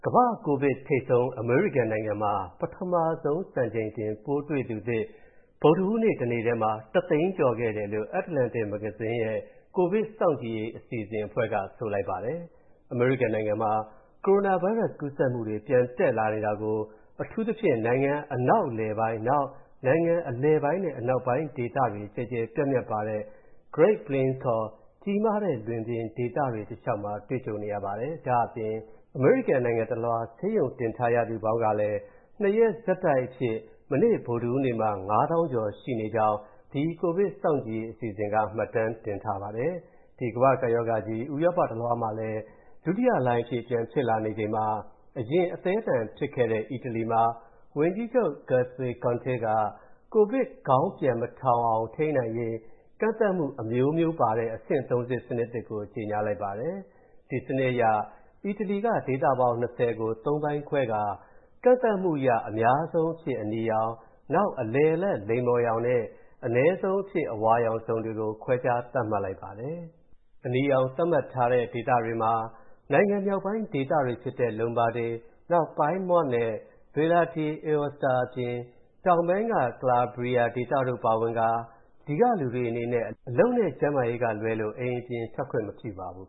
ကမ္ဘာ့ကိုဗစ်ထိပ်ဆုံး အမေရိကန်နိုင်ငံမှာ ပထမဆုံး စံချိန်တင်ပိုးတွေ့သူသစ် ဗုဒ္ဓဟူးနေ့တနေ့ထဲမှာ ၁၀၀,၀၀၀ ကျော်ခဲ့တယ်လို့ Atlantic မဂ္ဂဇင်းရဲ့ ကိုဗစ်စောင့်ကြည့်ရေးအစီအစဉ်အဖွဲ့က ဆိုလိုက်ပါတယ်။ အမေရိကန်နိုင်ငံမှာ ကိုရိုနာဗိုင်းရပ်စ်ကူးစက်မှုတွေ ပြန်တက်လာနေတာကို အထူးသဖြင့် နိုင်ငံ အနောက်အလယ်ပိုင်း၊ နောက် နိုင်ငံအလယ်ပိုင်းနဲ့အနောက်ပိုင်း ဒေသတွေကျယ်ကျယ်ပြန့်ပြန့်ပါတဲ့ Great Plains (ခေါ်) ကြီးမားတဲ့လွင်ပြင်ဒေသတွေ တလျှောက်မှာ တွေ့ကြုံနေရပါတယ်။ ဒါ့အပြင် အမေရိကန်နိုင်ငံတလွှား ဆေးရုံတင်ရသူပေါင်းလည်း ၂ ရက်ဆက်တိုက်အဖြစ် မနေ့ဗုဒ္ဓဟူးနေ့မှာ ၅၀,၀၀၀ ကျော်နေကြောင်း ဒီ ကိုဗစ်စောင့်ကြည့်ရေးအစီအစဉ်က မှတ်တမ်းတင်ထားပါတယ်။ ဒီကမ္ဘာ့ကပ်ရောဂါကြီး ဥရောပတလွှားမှာလည်း ဒုတိယလှိုင်းအဖြစ် ပြန်ဖြစ်လာနေချိန်မှာ အရင်အသည်းအသန်ဖြစ်ခဲ့တဲ့ အီတလီမှာ ဝန်ကြီးချုပ် Giuseppe Conte က၊ ကိုဗစ်ခေါင်းပြန်မထောင်အောင်ထိန်းနိုင်ရေး ကန့်သတ်မှုအမျိုးမျိုးပါတဲ့ အဆင့် (၃) ဆင့်စနစ်သစ်ကို ကြေညာလိုက်ပါတယ်။ ဒီစနစ်အရ အီတလီက ဒေသပေါင်း ၂၀ ကို ၃ ပိုင်းခွဲကာ ကန့်သတ်မှုအရ အများဆုံးအဖြစ် အနီရောင်၊ နောက် အလယ်အလတ် လိမ္မော်ရောင်နဲ့ အနည်းဆုံးအဖြစ် အဝါရောင်ဇုန်တွေ ခွဲခြားသတ်မှတ်လိုက်ပါတယ်။ အနီရောင်သတ်မှတ်ထားတဲ့ဒေသမှာ နိုင်ငံမြောက်ပိုင်းဒေသတွေဖြစ်တဲ့ Lombardy၊ နောက် Piedmont နဲ့ Valle d’ Aosta အပြင် တောင်ပိုင်းက Calabria ဒေသတို့ပါဝင်ကာ အဲဒီကလူတွေအနေနဲ့ အလုပ်နဲ့ ကျန်းမာရေးအတွက်ကလွဲလို့ အိမ်ပြင်ထွက်ခွင့်မပြုပါဘူး